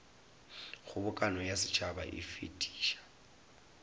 kgobokano ya setšhaba e fetiša